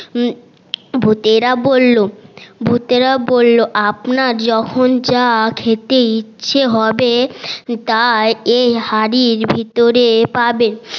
ভুতেরা বললো ভুতেরা বললো আপনার যখন জা খেতে ইচ্ছে হবে তা এই হাড়ির ভেতরে পাবেন